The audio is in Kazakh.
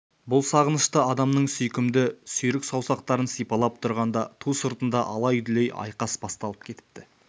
бұл сағынышты адамның сүйкімді сүйрік саусақтарын сипалап тұрғанда ту сыртында алай-дүлей айқас басталып кетіпті